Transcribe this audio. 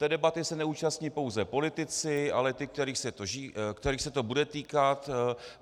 Té debaty se neúčastní pouze politici, ale ti, kterých se to bude týkat.